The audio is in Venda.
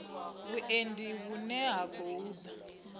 vhuendi vhune ha khou ḓa